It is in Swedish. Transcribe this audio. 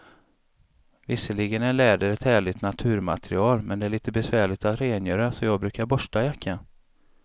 Visserligen är läder ett härligt naturmaterial, men det är lite besvärligt att rengöra, så jag brukar borsta jackan.